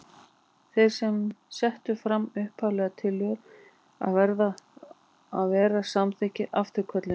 Þeir sem settu fram upphaflegu tillöguna verða að vera samþykkir afturkölluninni.